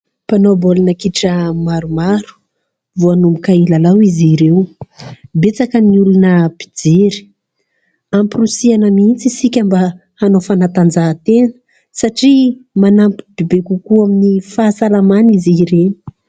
Mpanao baolina kitra maromaro, vao hanomboka hilalao izy ireo. Betsaka ny olona mpijery. Amporisihina mihitsy isika mba hanao fanatanjahan-tena, satria manampy bebe kokoa amin'ny fahasalamana izy ireny.